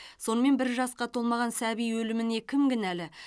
сонымен бір жасқа толмаған сәби өліміне кім кінәлі